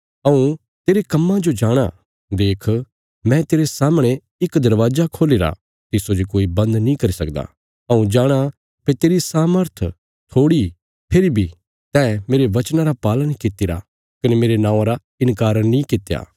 हऊँ तेरे कम्मां जो जाणाँ देख मैं तेरे सामणे इक दरवाजा खोल्हीरा तिस्सो जे कोई बन्द नीं करी सकदा हऊँ जाणाँ भई तेरी सामर्थ थोड़ी फेरी बी तैं मेरे वचनां रा पालन कित्तिरा कने मेरे नौआं रा इन्कार नीं कित्या